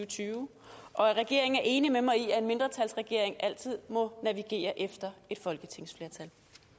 tyve og at regeringen er enig med mig i at en mindretalsregering altid må navigere efter et folketingsflertal